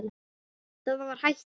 Það var hættan.